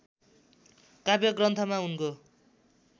काव्य ग्रन्थमा उनको